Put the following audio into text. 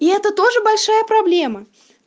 и это тоже большая проблема